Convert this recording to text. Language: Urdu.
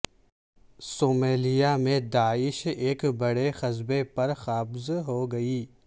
صومالیہ میں داعش ایک بڑے قصبے پر قابض ہوگئی